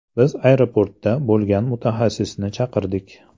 Biz aeroportda bo‘lgan mutaxassisni chaqirdik.